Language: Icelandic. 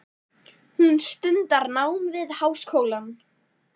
Hún stundar nám við háskólann.